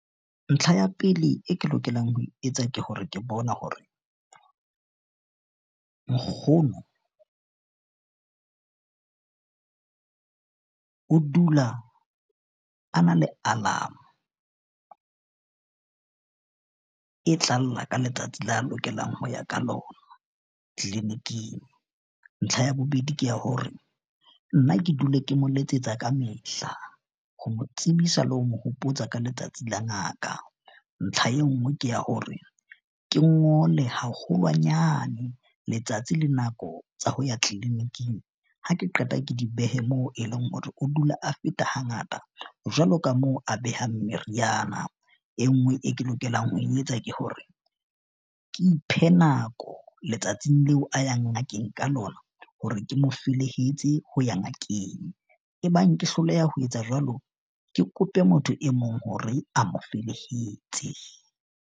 Ntlha ya pele e ke lokelang ho e etsa ke hore ke bona hore nkgono o dula a na le alarm-o e tla lla ka letsatsi la lokelang ho ya ka lona kliniking. Ntlha ya bobedi ke ya hore nna ke dule ke mo letsetsa kamehla ho mo tsebisa le ho mo hopotsa ka letsatsi la ngaka. Ntlha e nngwe ke ya hore ke ngole haholwanyane letsatsi le nako tsa ho ya clinic-ing ha ke qeta, ke di behe moo e leng hore o dula a feta hangata. Jwalo ka moo a behang meriana e nngwe e ke lokelang ho e etsa ke hore ke iphe nako letsatsing leo, a yang ngakeng ka lona, hore ke mo felehetse ho ya ngakeng, ebang ke hloleha ho etsa jwalo, ke kope motho e mong hore a mo felehetse.